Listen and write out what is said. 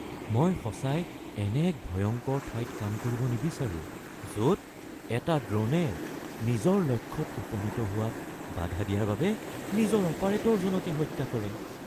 মই সঁচাই এনে এক ভয়ংকৰ ঠাইত কাম কৰিব নিবিচাৰোঁ য’ত এটা ড্ৰ’নে নিজৰ লক্ষ্যত উপনীত হোৱাত বাধা দিয়াৰ বাবে নিজৰ অপাৰেটৰজনকে হত্যা কৰে।